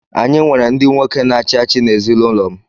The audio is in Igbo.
Anyị nwere ndị nwoke na-achị achị n’ezinụlọ m.